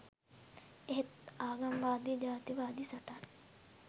එහෙත් ආගම වාදී ජාති වාදී සටන්